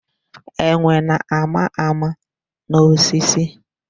Enwe na-ama ama n'osisi.